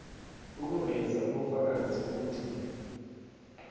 ukuveza ubufakazi bokuthi